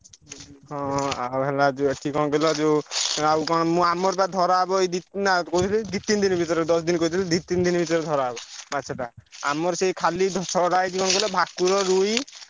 ହଁ ଆଉ ହେଲା ଯୋଉ ଏଠି କଣ କହିଲ ଯୋଉ ଆଉ କଣ ମୁଁ ଆମର ବା ଧରା ହବ ଏଇ ଦି କହୁଛନ୍ତି ଦି ତିନି ଦିନି ଭିତରେ ଦଶ ଦିନି କହିଦେଲି ଦି ତିନି ଦିନି ଭିତରେ ଧରା ହବ ମାଛଟା। ଆମର ସେଇ ଖାଲି ଛଡା ହେଇଛି କଣ କହିଲ ଭାକୁର, ରୋହି